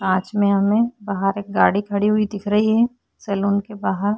कांच में हमें बहार एक गाडी खड़ी हुई दिख रही है सैलून के बहार।